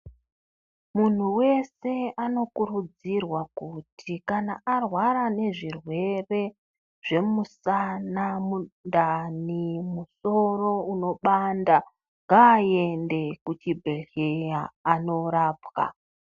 Muntu wese anokurudzirwa kuti kana arwara nezvirwere zvemusana, mundani, musoro unopanda, ngaaende kuchibhedhlera anorapwa.